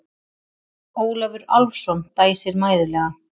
Ólafur Álfsson dæsir mæðulega.